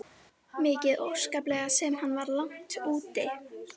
Mikið óskaplega sem hann var langt úti.